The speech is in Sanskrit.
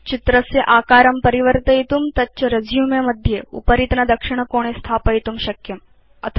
भवान् चित्रस्य आकारं परिवर्तयितुं तच्च रेसुमे मध्ये उपरितनदक्षिणकोणे स्थापयितुं शक्नोति